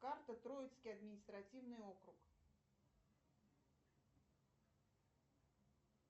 карта троицкий административный округ